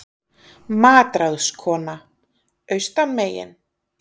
MATRÁÐSKONA: Austan megin?